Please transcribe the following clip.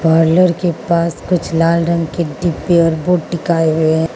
के पास कुछ लाल रंग के डिब्बे और बोर्ड डिकाए हुए --